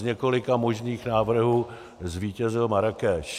Z několika možných návrhů zvítězil Marrákeš.